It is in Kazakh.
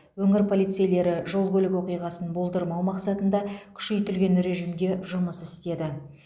өңір полицейлері жол көлік оқиғасын болдырмау мақсатында күшейтілген режимде жұмыс істеді